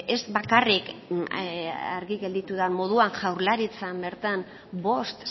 ez bakarrik argi gelditu den moduan jaurlaritzan bertan bost